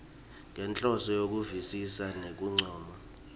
ngenhloso yekuvisisa nekuncoma